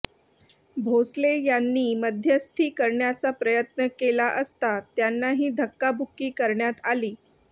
भोसले यांनी मध्यस्थी करण्याचा प्रयत्न केला असता त्यांनाही धक्काबुक्की करण्यात आली